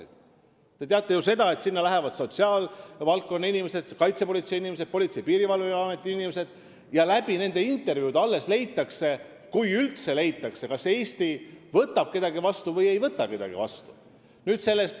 Te ju teate, et seda lähevad sinna uurima sotsiaalvaldkonna, kaitsepolitsei ning Politsei- ja Piirivalveameti inimesed ja alles nende intervjuude põhjal leitakse – kui üldse leitakse –, kas Eesti võtab või ei võta kedagi vastu.